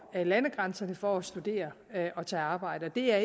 landegrænserne for at studere og tage arbejde det er